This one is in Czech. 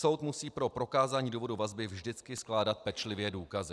Soud musí pro prokázání důvodu vazby vždycky skládat pečlivě důkazy.